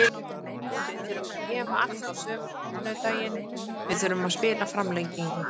Við þurftum að gefa allt á sunnudaginn, við þurftum að spila framlengingu.